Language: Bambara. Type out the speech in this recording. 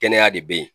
Kɛnɛya de bɛ yen